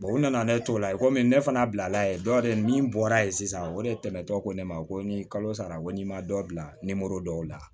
u nana ne to la komi ne fana bilala ye dɔ de min bɔra ye sisan o de tɛmɛtɔ ko ne ma ko ni kalo sara ko n'i ma dɔ bila dɔw la